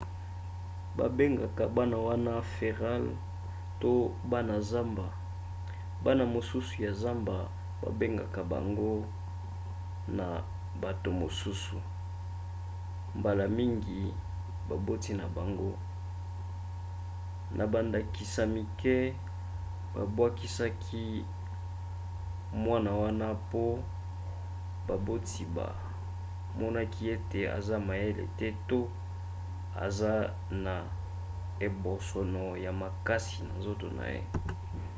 babengaka bana wana feral to bana zamba. bana mosusu ya zamba bakanga bango na bato mosusu mbala mingi baboti na bango; na bandakisa mike babwakisaki mwana wana mpo baboti bamonaki ete aza mayele te to eza na ebosono ya makasi na nzoto na ye